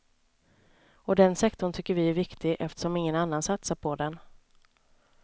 Och den sektorn tycker vi är viktig, eftersom ingen annan satsar på den.